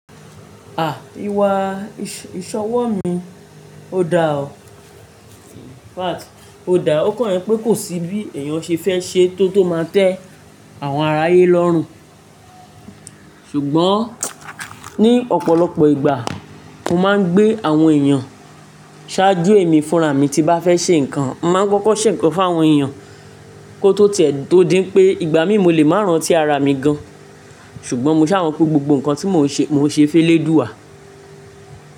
À! Ìwà ìṣọ̀wọ̀ mi, ó dáa ò. In fact, ó da. Ó kàn jẹ́pé kò sí bí èèyàn ṣe fẹ́ ṣe tó tó máa tẹ́ àwọn aráyé lọ́rùn. Ṣùgbọ́n ní ọ̀pọ̀lọpọ̀ ìgbà mo máa ń gbé àwọn èèyàn ṣáájú èmi fúnraà mi tí n bá fẹ́ ṣè ǹkan. Mo máa ń kọ́kọ́ ṣè ǹkan fún àwọn èèyàn kó tó tiẹ̀ tó dií pé ìgbà míì mo lè má rántí ara mi gan. Ṣùgbọ́n mo ṣà mọ̀ pé gbogbo nǹkan tí mo ń ṣe, mo ń ṣe félédùwà.